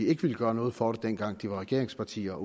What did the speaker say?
ikke ville gøre noget for det dengang de var regeringspartier